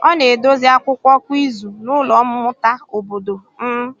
Ọ na-edòzì akwụkwọ̀ kwa izù n’ụlọ mmụta obodo. um